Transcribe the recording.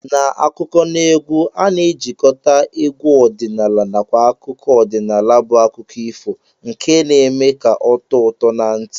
N'akụkọneegwu a na-ejikọta egwu ọdịnala nakwa akụkọ ọdịnala bụ akụkọ ifo nke na-eme ka ọ tọọ ụtọ na ntị